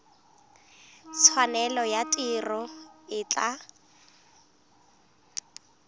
tshwanelo ya tiro e tla